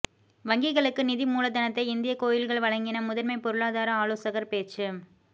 வங்கிகளுக்கு நிதி மூலதனத்தை இந்திய கோயில்கள் வழங்கின முதன்மை பொருளாதார ஆலோசகர் பேச்சு